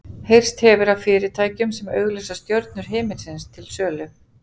Heyrst hefur af fyrirtækjum sem auglýsa stjörnur himinsins til sölu.